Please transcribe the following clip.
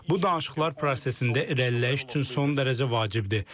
Bu danışıqlar prosesində reləş, son dərəcə vacibdir.